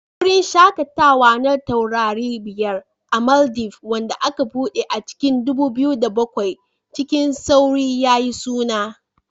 Wurin shakatawa na taurari biyar a Maldives, wanda aka buɗe a cikin 2007, cikin sauri yayi suna